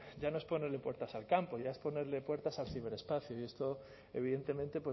ya no es ponerle puertas al campo ya es ponerle puertas al ciberespacio y esto evidentemente